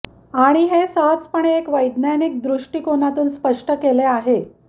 आणि हे सहजपणे एक वैज्ञानिक दृष्टिकोनातून स्पष्ट केले आहे